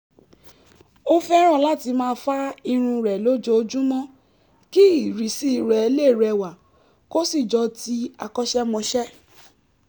ó fẹ́ràn láti máa fá irun rẹ̀ lójoojúmọ́ kí ìrísí rẹ̀ lè rẹwà kó sì jọ ti akọ́ṣẹ́mọṣẹ́